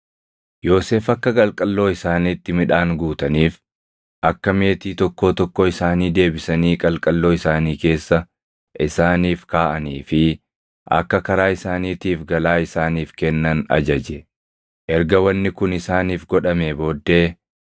Yoosef akka qalqalloo isaaniitti midhaan guutaniif, akka meetii tokkoo tokkoo isaanii deebisanii qalqalloo isaanii keessa isaaniif kaaʼanii fi akka karaa isaaniitiif galaa isaaniif kennan ajaje. Erga wanni kun isaaniif godhamee booddee